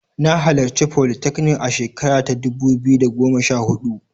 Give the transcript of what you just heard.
Na halarci folytechnic a shekara ta dubu biyu da goma sha huɗu.